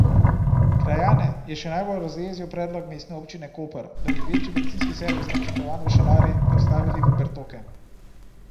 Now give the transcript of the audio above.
Krajane je še najbolj razjezil predlog Mestne občine Koper, da bi večji bencinski servis, načrtovan v Šalari, prestavili v Bertoke.